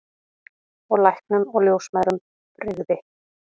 Og læknum og ljósmæðrum brygði.